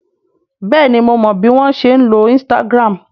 Bẹ́ẹ̀ni mo mọ bí wọ́n ṣe ń lo Instagram